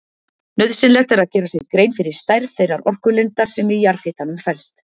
Nauðsynlegt er að gera sér grein fyrir stærð þeirrar orkulindar sem í jarðhitanum felst.